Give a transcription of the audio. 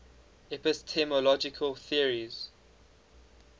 epistemological theories